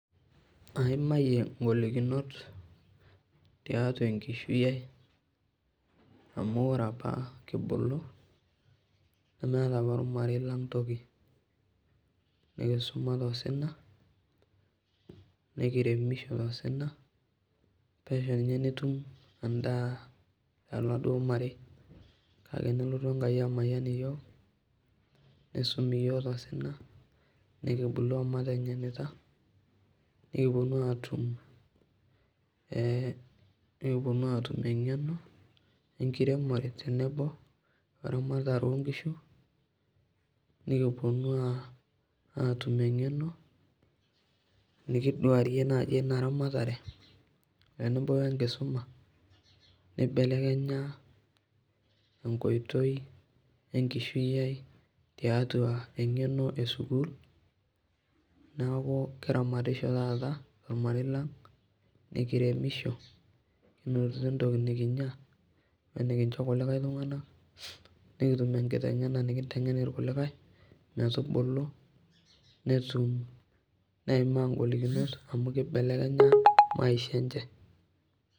Aimayie ngolikinot tiatwa enkishui ai amu ore apa kibulu, nemeeta opa ormarei lang toki. Nekisuma tosina, nekiremisho tosina, pesho ninye nitum endaa toladuo marei. Kake nelotu enaki amayian iyiok, nisumi iyiok tosina, nekibulu omateng'enita nekipwonu aatum eng'eno e nkiremore tenebo weramatare oo nkishu nikipwonu aatum eng'eno nikidwaarie naaji ina ramatare tenebo wenkisuma, nibelekenya enkoitoi e nkishui ai tiatwa eng'eno e sukuul. Neeku kiramatisho taata tormarei lang, nekiremisho, kinotito entoki nekinya wenekincho kulikae tung'anak, nekitum enkiteng'ena nikinteng'en irkulikae metubulu netum, neimaa ngolikinot amu kibelekenya maisha enche